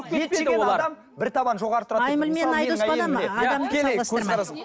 ет жеген адам бір табан жоғары тұрады